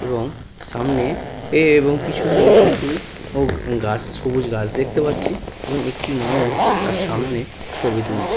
এবং সামনে এ এবং পেছন দিকে প্রচুর ও গাছ সবুজ গাছ দেখতে পাচ্ছি এবং একটি মানুষ তার সামনে ছবি তুলছে।